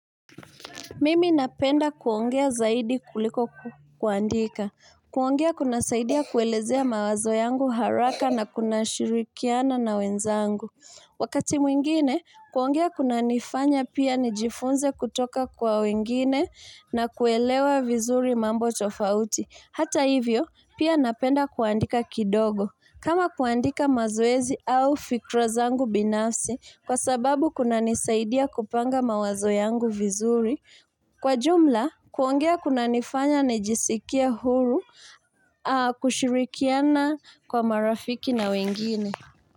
Mimi napenda kuongea zaidi kuliko kuandika. Kuongea kunasaidia kuelezea mawazo yangu haraka na kunashirikiana na wenzangu. Wakati mwingine, kuongea kunanifanya pia nijifunze kutoka kwa wengine na kuelewa vizuri mambo tofauti. Hata hivyo, pia napenda kuandika kidogo. Kama kuandika mazoezi au fikra zangu binafsi, kwa sababu kunanisaidia kupanga mawazo yangu vizuri. Kwa jumla, kuongea kunanifanya nijisikie huru kushirikiana kwa marafiki na wengine.